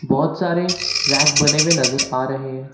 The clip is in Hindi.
बहोत सारे रैक बने हुए नजर आ रहे हैं।